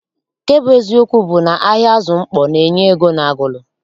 Nke bụ eziokwu bụ na ahịa azụ mkpọ na- enye ego n'Agulu.